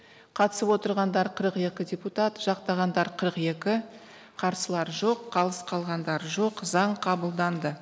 қатысып отырғандар қырық екі депутат жақтағандар қырық екі қарсылар жоқ қалыс қалғандар жоқ заң қабылданды